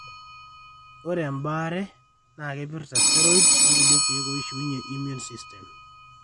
Ore baare naa keipirta steroids orkulie kiek oishiunye immune system